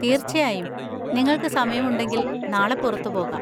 തീർച്ചയായും, നിങ്ങൾക്ക് സമയമുണ്ടെങ്കിൽ നാളെ പുറത്തുപോകാം.